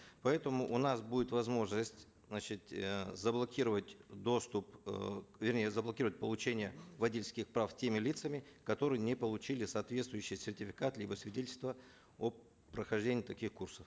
поэтому у нас будет возможность значит э заблокировать доступ э вернее заблокировать получение водительских прав теми лицами которые не получили соответствующий сертификат либо свидетельство о прохождении таких курсов